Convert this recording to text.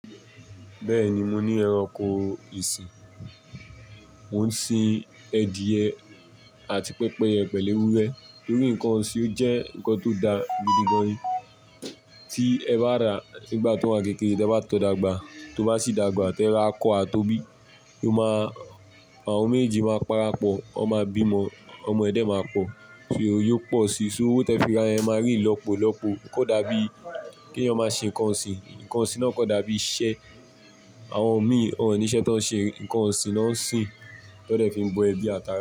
Bẹ́ẹ̀ni mo ní ẹranko ìsìn, mo ń sin ediye àti pẹ́pẹ́yẹ pẹ̀lú ewúrẹ́ torí nǹkan ọ̀sìn o jẹ́ nǹkan tó da gidi gan-an ni tí ẹ bá ra nígbà tó wà n kékeré te bá tó dàgbà tó bá sì dàgbà tí ẹ ra akọ́ a tó bí, o máa, àwọn méjeji máa parapọ̀, wọn máa bímọ, ọmọ ẹ̀ de máa pọ̀, só yóò pọ̀ sí so owó tí ẹ fi ra yen e máa rí ilọ́po ilọ́pokò, o ko dàbí kí eyan máa ṣe nǹkan ọ̀sìn, nǹkan ọ̀sìn náà kò dàbí iṣẹ́, àwọn mi ò ní iṣẹ́ tó ń ṣe, nǹkan ọ̀sìn ló ń sin to de fi ń bọ ẹbí ati ara.